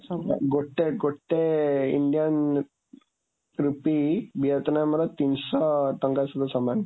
ଗୋଟେ ଗୋଟେ Indian rupee ଭିଏତନାମର ତିନିଶହ ଟଙ୍କା ସହିତ ସମାନ।